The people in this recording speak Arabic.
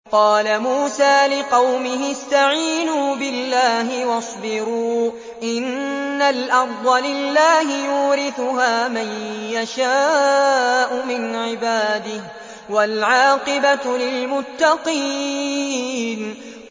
قَالَ مُوسَىٰ لِقَوْمِهِ اسْتَعِينُوا بِاللَّهِ وَاصْبِرُوا ۖ إِنَّ الْأَرْضَ لِلَّهِ يُورِثُهَا مَن يَشَاءُ مِنْ عِبَادِهِ ۖ وَالْعَاقِبَةُ لِلْمُتَّقِينَ